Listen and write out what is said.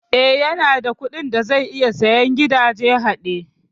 Eh, yanada kuɗin da zai iya sayen gidajen haɗe